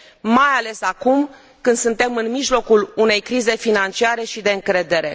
mai ales acum, când suntem în mijlocul unei crize financiare și de încredere.